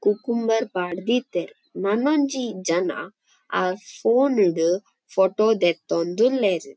Cucumber ಪಾರ್ದೀತೆರ್ ನನೊಂಜಿ ಜನ ಆ ಫೋನ್ ಡ್ ಫೋಟೊ ದೆತ್ತೊಂದುಲ್ಲೆರ್.